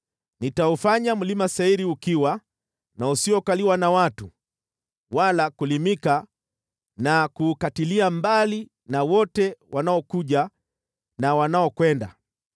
Nitaufanya Mlima Seiri ukiwa na usiokaliwa na watu wala kulimika na kuukatilia mbali na wote wanaokuja na wanaokwenda.